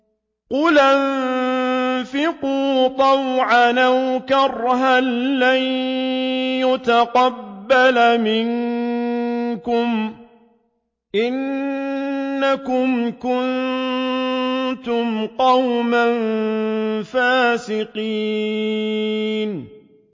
قُلْ أَنفِقُوا طَوْعًا أَوْ كَرْهًا لَّن يُتَقَبَّلَ مِنكُمْ ۖ إِنَّكُمْ كُنتُمْ قَوْمًا فَاسِقِينَ